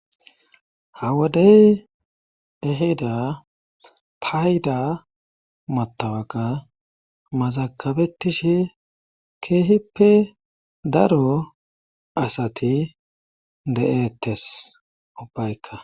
hawodey eheda payda matawaka mazakabetishe keehippe daro asati de7eettes ubbaykka